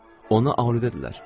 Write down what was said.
Ona adidirlər.